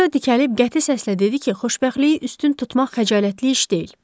Rö dikəlib qəti səslə dedi ki, xoşbəxtliyi üstün tutmaq xəcalətli iş deyil.